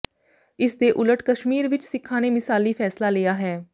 ਇਸ ਦੇ ਉਲਟ ਕਸ਼ਮੀਰ ਵਿੱਚ ਸਿੱਖਾਂ ਨੇ ਮਿਸਾਲੀ ਫੈਸਲਾ ਲਿਆ ਹੈ